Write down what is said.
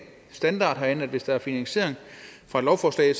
standard herinde at hvis der er finansiering fra et lovforslag